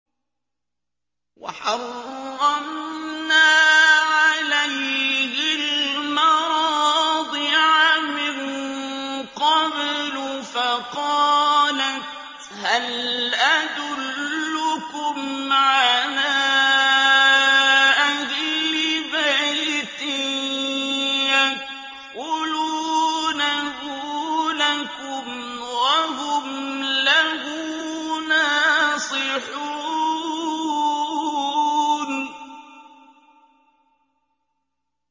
۞ وَحَرَّمْنَا عَلَيْهِ الْمَرَاضِعَ مِن قَبْلُ فَقَالَتْ هَلْ أَدُلُّكُمْ عَلَىٰ أَهْلِ بَيْتٍ يَكْفُلُونَهُ لَكُمْ وَهُمْ لَهُ نَاصِحُونَ